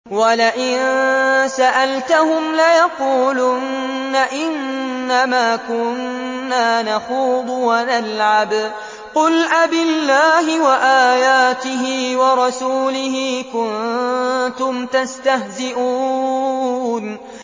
وَلَئِن سَأَلْتَهُمْ لَيَقُولُنَّ إِنَّمَا كُنَّا نَخُوضُ وَنَلْعَبُ ۚ قُلْ أَبِاللَّهِ وَآيَاتِهِ وَرَسُولِهِ كُنتُمْ تَسْتَهْزِئُونَ